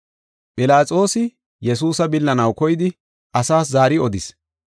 Philaxoosi Yesuusa billanaw koyidi asaas zaari odis.